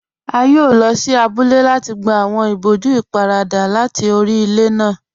A yóò lọ sí àbúlẹ̀ láti gbà awọn ìbòjú ìpárada láti orí ilẹ̀ náà.